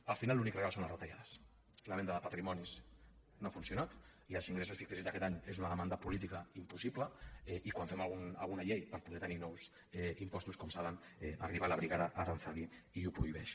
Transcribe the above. al final l’únic real són les retallades la venda de patrimonis no ha funcionat i els ingressos ficticis d’aquest any és una demanda política impossible i quan fem alguna llei per poder tenir nous impostos com saben arriba la brigada aranzadi i ho prohibeix